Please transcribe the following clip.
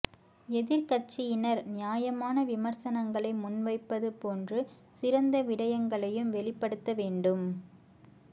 எதிர்க்கட்சியினர் நியாயமான விமர்சனங்களை முன்வைப்பது போன்று சிறந்த விடயங்களையும் வெளிப்படுத்த வேண்டும்